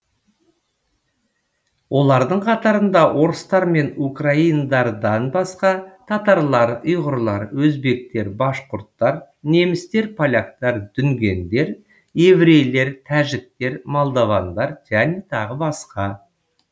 олардың қатарында орыстар мен украиндардан басқа татарлар ұйғырлар өзбектер башқұрттар немістер поляктар дүнгендер еврейлер тәжіктер молдовандар және тағы басқа